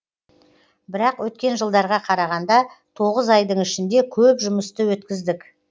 бірақ өткен жылдарға қарағанда тоғыз айдың ішінде көп жұмысты өткіздік